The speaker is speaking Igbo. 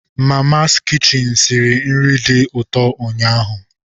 Mamas kichin siri nri dị ụtọ ụnyaahụ